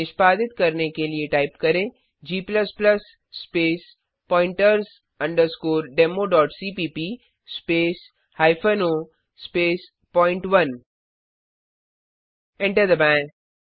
निष्पादित करने के लिए टाइप करें g space pointers democpp space hyphen O space पॉइंट1 एंटर दबाएँ